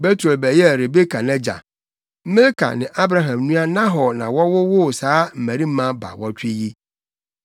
Betuel bɛyɛɛ Rebeka nʼagya. Milka ne Abraham nua Nahor na wɔwowoo saa mmabarima baawɔtwe yi.